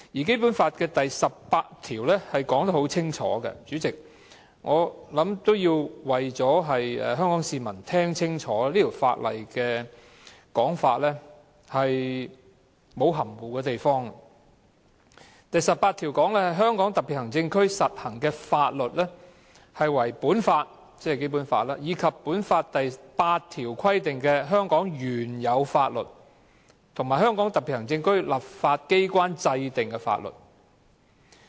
《基本法》第十八條亦清楚訂明——我希望香港市民聽清楚，這項條文沒有任何含糊之處——"在香港特別行政區實行的法律為本法以及本法第八條規定的香港原有法律和香港特別行政區立法機關制定的法律。